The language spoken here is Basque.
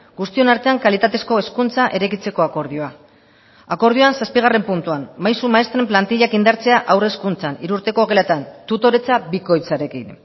guztion artean kalitatezko hezkuntza eraikitzeko akordioa akordioan zazpigarren puntuan maisu maistren plantillak indartzea haur hezkuntzan hiru urteko geletan tutoretza bikoitzarekin